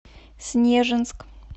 снежинск